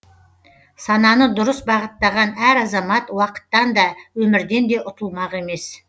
сананы дұрыс бағыттаған әр азамат уақыттан да өмірден де ұтылмақ емес